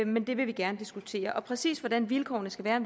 men det vil vi gerne diskutere og præcis hvordan vilkårene skal være